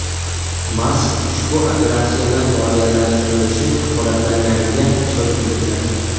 Mask ushbu operatsiyalar moliyalashtirilishi kafolatlanganiga ishonch bildirgan.